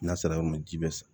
N'a sera yɔrɔ min ji bɛ sa